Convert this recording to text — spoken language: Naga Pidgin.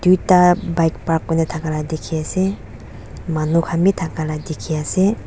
tuita bike park kurina thakala dikhiase manu khan bi thaka dikhiase.